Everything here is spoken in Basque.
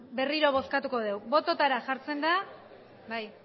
berriro bozkatuko dugu bototara jartzen da bai